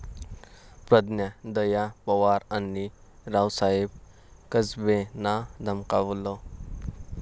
प्रज्ञा दया पवार आणि रावसाहेब कसबेंना धमकावलं